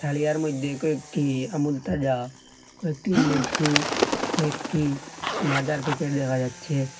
তারিয়ার মধ্যে কয়েকটি আমুল তাজা কয়েকটি লেসু কয়েকটি মাজার প্যাকেট দেখা যাচ্ছে।